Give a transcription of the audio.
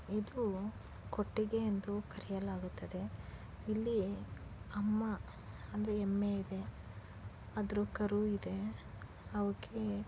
ಇದು ಕೊಟ್ಟಿಗೆ ಎಂದು ಕರೆಯಲಾಗುತ್ತದೆ. ಇಲ್ಲಿ ಅಮ್ಮ ಅಂದ್ರೆ ಎಮ್ಮೆ ಇದೆ. ಅದ್ರು ಕರು ಇದೆ ಅವುಕೆ --